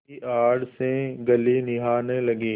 की आड़ से गली निहारने लगी